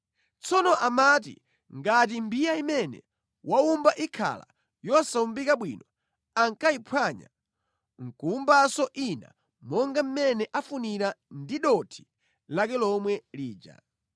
Tsono amati ngati mbiya imene waumba ikhala yosawumbika bwino ankayiphwanya nʼkuwumbanso ina monga mmene afunira ndi dothi lake lomwe lija.